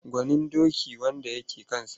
Gwanin doki wanda ya ke kansa.